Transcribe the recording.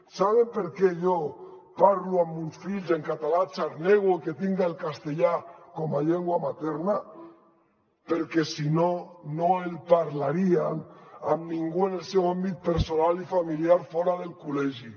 saben per què jo parlo amb els meus fills en català xarnego que tinc el castellà com a llengua materna perquè si no no el parlarien amb ningú en el seu àmbit personal i familiar fora del col·legi